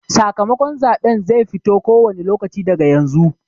Sakamakon zaɓen zai fito ko wane lokaci daga yanzu.